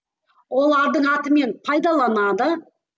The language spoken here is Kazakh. олардың атымен пайдаланады